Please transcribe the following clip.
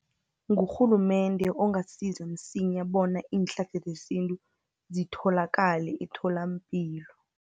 Ngurhulumende ongasiza msinya, bona iinhlahla zesintu zitholakale etholampilo